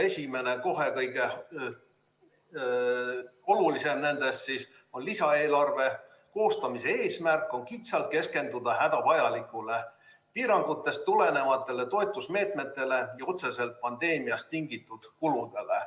Esimene, kohe kõige olulisem nendest on: lisaeelarve koostamise eesmärk on kitsalt keskenduda hädavajalikele, piirangutest tulenevatele toetusmeetmetele ja otseselt pandeemiast tingitud kuludele.